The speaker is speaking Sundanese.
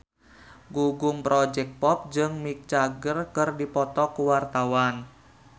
Gugum Project Pop jeung Mick Jagger keur dipoto ku wartawan